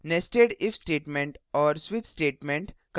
nested if statement और switch switch statement